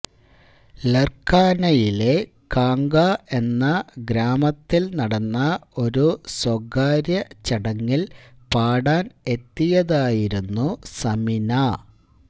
ലര്ഖാനയിലെ കാംഗാ എന്ന ഗ്രാമത്തില് നടന്ന ഒരു സ്വകാര്യ ചടങ്ങില് പാടാന് എത്തിയതായിരുന്നു സമിന